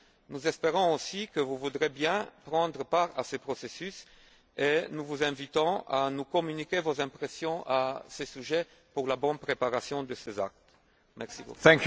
Nous espérons aussi que vous voudrez bien prendre part à ce processus et nous vous invitons à nous communiquer vos impressions à ce sujet pour la bonne préparation de ces actes législatifs.